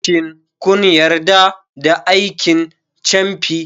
Shin kun yarda da aikin camfi?